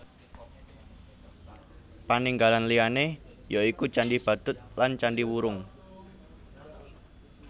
Paninggalan liyané ya iku Candhi Badut lan Candhi Wurung